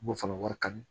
M'o fana wari kanu